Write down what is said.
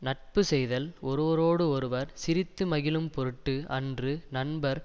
நட்பு செய்தல் ஒருவரோடு ஒருவர் சிரித்து மகிழும் பொருட்டு அன்று நண்பர்